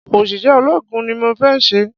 Òṣìṣẹ́ ológun ni mọ fé se